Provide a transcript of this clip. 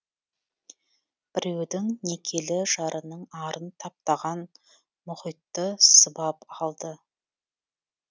біреудің некелі жарының арын таптаған мұхитты сыбап алды